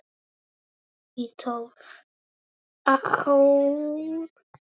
Eða í tólf ár?